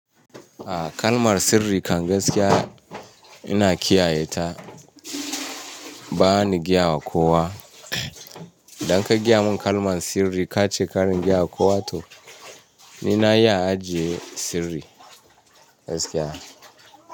A kalmar sirri kan gaskiya ina kiyaye ta ba ni gyawa kowa. Idan ka gaya mun kalman sirri ka ce kar in gyawa kowa to ni na iya ajiye sirri, gaskiya.